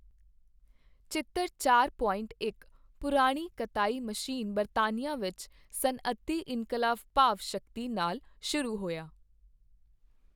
ਚਿੱਤਰ ਚਾਰ ਪੁਆਈਂਟ ਇਕ ਪੁਰਾਣੀ ਕਤਾਈ ਮਸ਼ੀਨ ਬਰਤਾਨੀਅਆਂ ਵਿਚ ਸਨੱਅਤੀ ਇਨਕਲਾਬ ਭਾਵ ਸ਼ਕਤੀ ਨਾਲ ਸ਼ੁਰੂ ਹੋਇਆ।